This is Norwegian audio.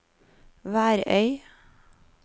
Værøy